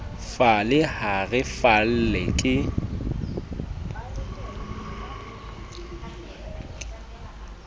falle ha re falle ke